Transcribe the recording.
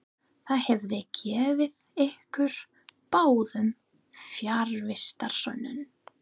Það hefði gefið ykkur báðum fjarvistarsönnun.